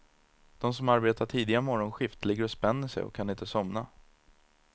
De som arbetar tidiga morgonskift ligger och spänner sig och kan inte somna.